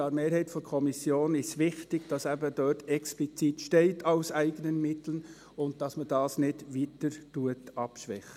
Der Mehrheit der Kommission ist es wichtig, dass dort eben explizit «aus eigenen Mitteln» steht, und dass man das nicht weiter abschwächt.